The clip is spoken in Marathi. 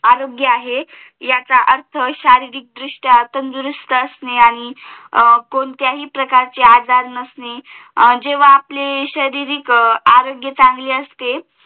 आरोग्य आहे याचा अर्थ शारीरिक दृष्ट्या तंदुरुस्त असणेआणि कोणत्याही प्रकारचे आजार नसणे जेव्हा आपले शारीरिक आरोग्य चांगले असते